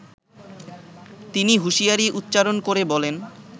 তিনি হুশিয়ারী উচ্চারন করে বলেন